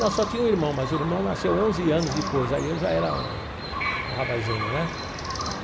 Não, só tinha um irmão, mas o irmão nasceu onze anos depois, aí eu já era um um rapazinho, né? Tá.